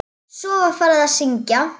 Svo var farið að syngja.